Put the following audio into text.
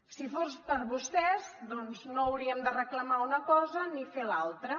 si fos per vostès doncs no hauríem de reclamar una cosa ni fer l’altra